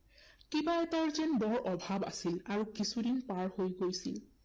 কিবা এটাৰ যেন বৰ অভাৱ আছিল, আৰু কিছুদিন পাৰ হৈ গৈছিল।